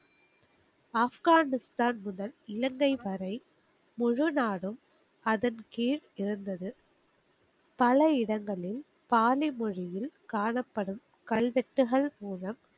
ஆப்கானிஸ்தான் முதல் இலங்கை வரை முழு நாடும் அதின் கீழ் இருந்தது. பல இடங்களில் பாலி மொழியில் காணப்படும் கல்வெட்டுகள் மூலம்,